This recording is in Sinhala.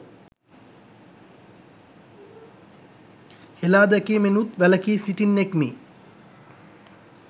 හෙලාදැකීමෙනුත් වැලකී සිටින්නෙක්මි